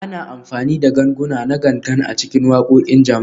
Ana amfani da ganguna na Gangan a cikin waƙoƙin jama'a